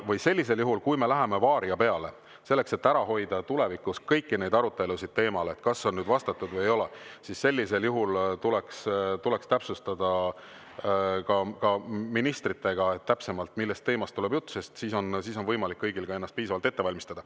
Või sellisel juhul, kui me läheme "Varia" peale, selleks et ära hoida tulevikus kõiki neid arutelusid teemal, kas on nüüd vastatud või ei ole, tuleks täpsustada ministritega, millisest teemast tuleb jutt, sest siis on kõigil võimalik ennast piisavalt ette valmistada.